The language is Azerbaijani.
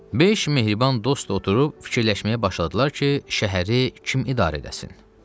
Beş mehriban dost oturub fikirləşməyə başladılar ki, şəhəri kim idarə edəsin?